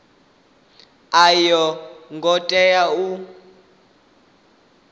a yo ngo tea u